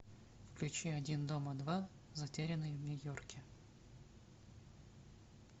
включи один дома два затерянный в нью йорке